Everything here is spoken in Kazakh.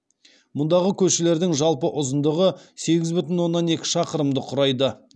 мұндағы көшелердің жалпы ұзындығы сегіз бүтін оннан екі шақырымды құрайды